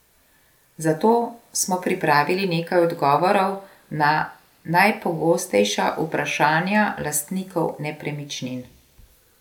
Zato smo pripravili nekaj odgovorov na najpogostejša vprašanja lastnikov nepremičnin.